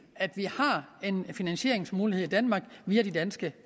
at vi har en finansieringsmulighed i danmark via de danske